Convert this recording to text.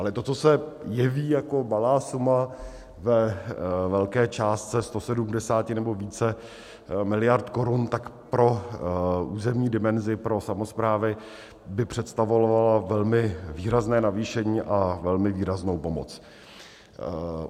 Ale to, co se jeví jako malá suma ve velké částce 170 nebo více miliard korun, tak pro územní dimenzi, pro samosprávy by představovala velmi výrazné navýšení a velmi výraznou pomoc.